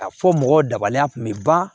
A fɔ mɔgɔw dabaliya kun bɛ ban